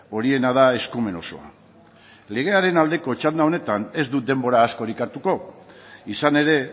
horiena da eskumen osoa legearen aldeko txanda honetan ez dut denbora askorik hartuko izan ere